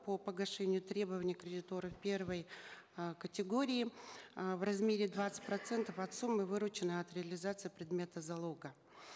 по погашению требований кредиторов первой э категории э в размере двадцать процентов от суммы вырученной от реализации предмета залога